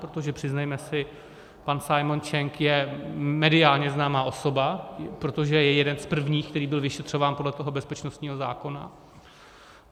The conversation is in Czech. Protože přiznejme si, pan Simon Cheng je mediálně známá osoba, protože je jeden z prvních, který byl vyšetřován podle toho bezpečnostního zákona.